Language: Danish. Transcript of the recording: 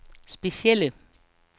specielle